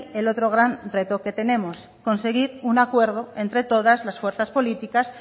el otro gran reto que tenemos conseguir un acuerdo entre todas las fuerzas políticas